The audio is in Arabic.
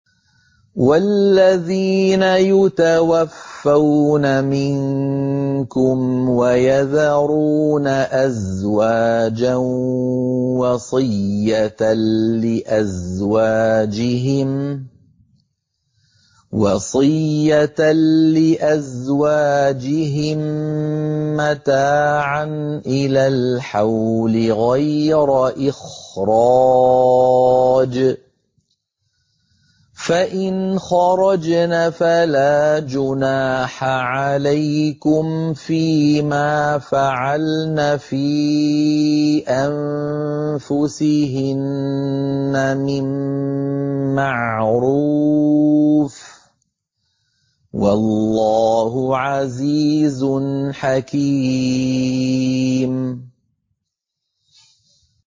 وَالَّذِينَ يُتَوَفَّوْنَ مِنكُمْ وَيَذَرُونَ أَزْوَاجًا وَصِيَّةً لِّأَزْوَاجِهِم مَّتَاعًا إِلَى الْحَوْلِ غَيْرَ إِخْرَاجٍ ۚ فَإِنْ خَرَجْنَ فَلَا جُنَاحَ عَلَيْكُمْ فِي مَا فَعَلْنَ فِي أَنفُسِهِنَّ مِن مَّعْرُوفٍ ۗ وَاللَّهُ عَزِيزٌ حَكِيمٌ